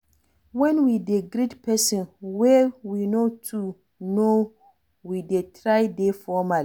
when we dey greet person wey we no too know we dey try dey formal